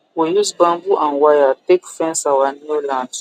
we use bamboo and wire take fence our new land